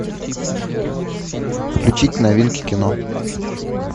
включить новинки кино